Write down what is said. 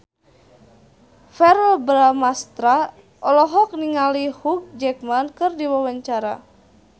Verrell Bramastra olohok ningali Hugh Jackman keur diwawancara